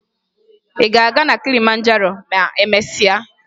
Ị ga-aga na Kilimanjaro ma emesịa?